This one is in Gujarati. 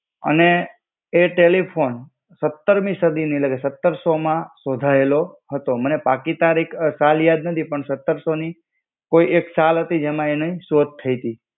અને એ ટેલીફોન સત્તરમી સદીની એટલે કે સત્તરસો માં શોધાયેલો હતો. મને પાકી તારીખ સાલ યાદ નથી પણ સત્તરસો ની કોઈ એક સાલ હતી જેમાં એની શોધ થઇતી.